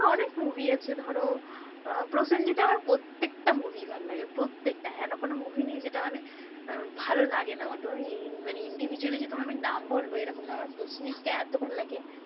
অনেক movie আছে ধরো, আহ প্রসেনজিতের আমার প্রত্যেকটা movie ভালো লাগে। প্রত্যেকটা হেনো কোন movie নেই যেটা মানে উম ভালো লাগেনা আমার তো মানে individually যে তোমায় আমি নাম বলবো এরকম না আমার প্রসেনজিৎকে এত ভালো লাগে,